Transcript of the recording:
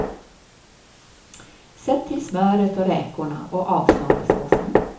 Sätt till smöret och räkorna och avsmaka såsen.